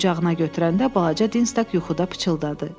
Qucağına götürəndə balaca Dinz yuxuda pıçıldadı.